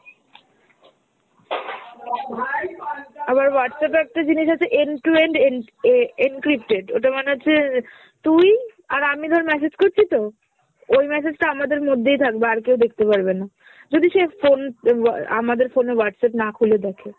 আবার Whatsapp এ একটা জিনিস আছে end to end en~ a~ encrypted, ওটার মানে হচ্ছে তুই আর আমি ধর message করছিতো ওই message টা আমাদের মধ্যেই থাকবে আর কেউ দেখতে পারবে না, যদি সে phone অ্যা আমাদের phone এ Whatsapp না খুলে দেখে।